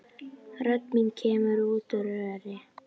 Rödd mín kemur út úr röri.